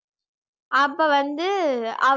அப்ப வந்து